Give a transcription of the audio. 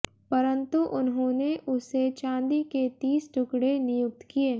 परन्तु उन्होंने उसे चांदी के तीस टुकड़े नियुक्त किए